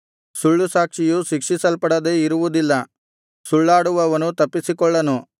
ಸುಳ್ಳುಸಾಕ್ಷಿಯು ಶಿಕ್ಷಿಸಲ್ಪಡದೆ ಇರುವುದಿಲ್ಲ ಸುಳ್ಳಾಡುವವನು ತಪ್ಪಿಸಿಕೊಳ್ಳನು